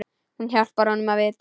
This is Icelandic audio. Hún hjálpar honum við það.